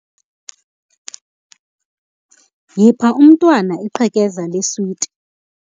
Yipha umntwana iqhekeza leswiti,